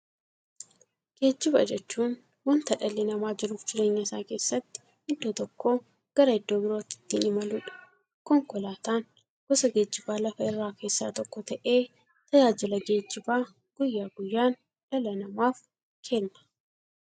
Geejjiba jechuun wanta dhalli namaa jiruuf jireenya isaa keessatti iddoo tokkoo gara iddoo birootti ittiin imaluudha. Konkolaatan gosa geejjibaa lafarraa keessaa tokko ta'ee, tajaajila geejjibaa guyyaa guyyaan dhala namaaf kenna.